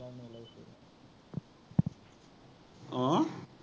অ,